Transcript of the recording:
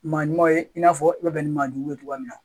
Maa ɲumanw ye i n'a fɔ i bɛ bɛn ni maaɲuman ye cogoya min na